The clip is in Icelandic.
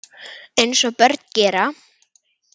Eins og börn gera.